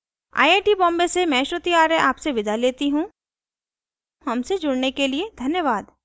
I I T Bombay से मैं श्रुति आर्य अब आपसे विदा लेती हूँ हमसे जुड़ने के लिए धन्यवाद